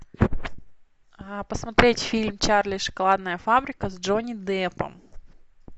посмотреть фильм чарли и шоколадная фабрика с джонни деппом